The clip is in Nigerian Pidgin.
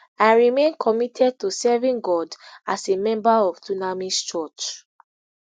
i remain committed to serving god as a member of dunamis church